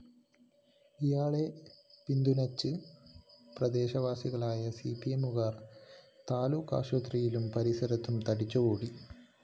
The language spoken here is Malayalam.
ഇയാളെ പിന്തുണച്ച് പ്രദേശവാസികളായ സിപിഎമ്മുകാര്‍ താലൂക്കാഫിസിലും പരിസരത്തും തടിച്ചുകൂടി